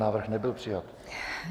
Návrh nebyl přijat.